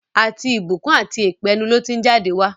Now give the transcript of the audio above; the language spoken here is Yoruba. Àti ìbùkún àti èpè, ẹnu ló ti ń jáde wá.